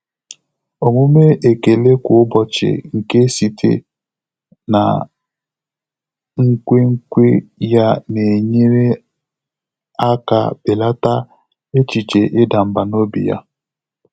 Ọ́mụ́mé ékèlé kwá ụ́bọ̀chị̀ nké sìté nà nkwènkwe yá nà-ényéré áká bèlàtà échíché ị́dà mbà n’óbí yá.